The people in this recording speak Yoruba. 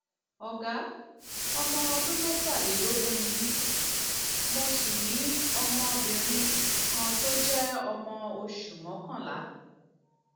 ọgá ọmọ ọdún mẹtàlélógún ni mí mo sì ní ọmọbìnrin ní ọmọbìnrin kan tó jẹ ọmọ oṣù mọkànlá